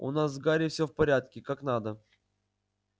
у нас с гарри всё в порядке как надо